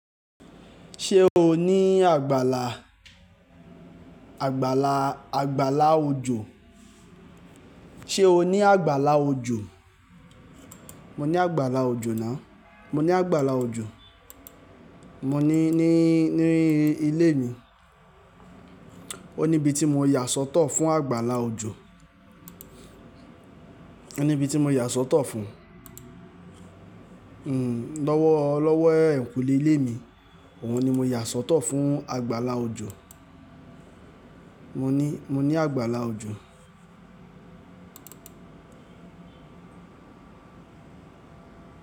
Ṣé o ní àgbàlà, àgbàlà, àgbàlá ojò? Ṣé o ní àgbàlá ojò? Mo ní àgbàlá ojò náà. Mo ní àgbàlá ojò. Mo ní ní, ní ilé mi. O ní ibi tí mo yà sọ́tọ̀ fún àgbàlá ojò. O ní ibi tí mo yà sọ́tọ̀ fún. Lọ́wọ́, lọ́wọ́ eẹ̀nkùnle ilé mi òun ni mo yà sọ́tọ̀ fún àgbàlá ojò. Mo ní, mo ní àgbàlá ojò.